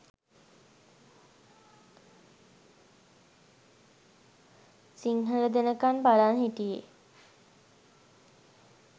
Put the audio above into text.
සිංහල දෙනකන් බලන් හිටියේ